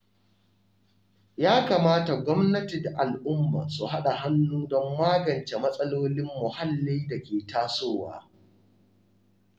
Ya kamata gwamnati da al’umma su haɗa hannu don magance matsalolin muhalli da ke tasowa.